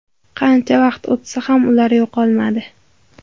Qancha vaqt o‘tsa ham ular yo‘qolmadi.